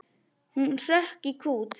Hann hrökk í kút.